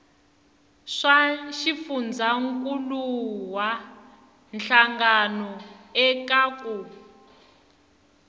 swa xifundzankuluwa hlangano eka ku